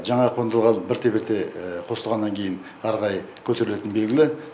жаңа қондырғылар бірте бірте қосылғаннан кейін ары қарай көтерілетіні белгілі